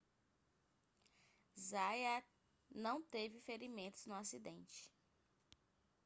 zayat não teve ferimentos no acidente